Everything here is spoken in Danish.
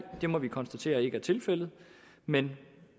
det må vi konstatere ikke er tilfældet men